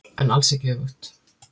En alls ekki öfugt.